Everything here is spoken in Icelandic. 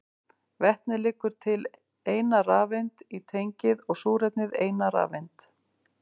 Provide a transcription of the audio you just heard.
Vetnið leggur til eina rafeind í tengið og súrefnið eina rafeind.